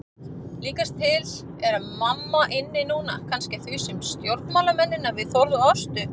Líkast til er mamma inni núna, kannski að þusa um stjórnmálamennina við Þórð og Ástu.